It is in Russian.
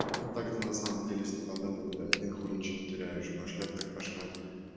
ну так-то на самом деле если по доброму один хуй ничего не теряешь пошлёт так пошёт